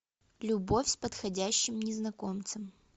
любовь с подходящим незнакомцем